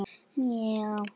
Breiðan og góðan hóp.